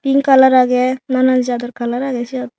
pink colour age nanan jador colour age siot.